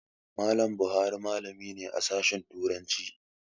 Mallam Buhari malami ne a Sashen Turanci.